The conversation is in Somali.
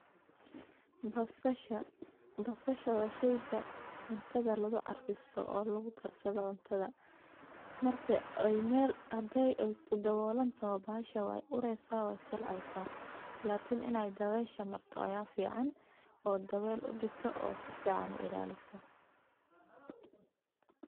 sidoo kale waa muhiim in ganacsatada badarka ay yeeshaan aqoon ku saabsan baahida suuqyada dibadda taas oo ka caawin karta inay beegsadaan dalal gaar ah oo raadinaya noocyada badarka ee kenya kasoo saarto sida galleyda, sarreenka, iyo masagada intaas waxaa dheer ganacsiyadaas waa in ay helaan xiriir toos ah oo ay la yeeshaan